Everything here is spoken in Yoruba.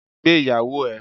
Gbé Ìyàwó ẹ.